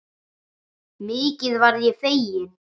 Mikið varð ég feginn.